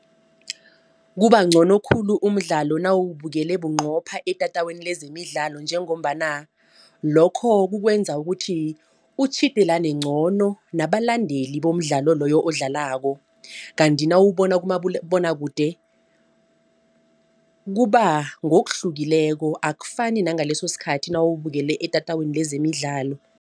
Kubangcono khulu umdlalo nawubukele bunqopha etatawini lezemidlalo njengombana lokho kukwenza ukuthi utjhidelane ngcono nabalandeli bomdlalo loyo odlalako. Kanti nawubona kumabonwakude kuba ngokuhlukileko akufani nangaleso sikhathi nawubukele etatawini lezemidlalo.